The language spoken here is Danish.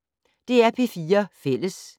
DR P4 Fælles